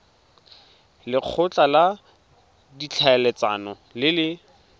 lekgotla la ditlhaeletsano le le